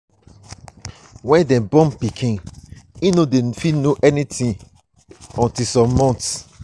when dem born pikin new im no dey fit know anything until some months